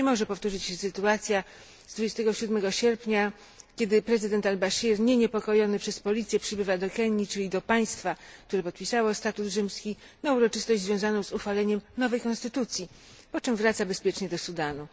Nie może powtórzyć się sytuacja z 27 sierpnia, kiedy prezydent al Bashir, nie niepokojony przez policję, przybywa do Kenii, czyli do państwa, które podpisało statut rzymski, na uroczystość związaną z uchwaleniem nowej konstytucji, po czym wraca bezpiecznie do Sudanu.